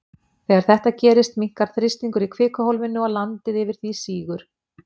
Þegar þetta gerist, minnkar þrýstingur í kvikuhólfinu og landi yfir því sígur.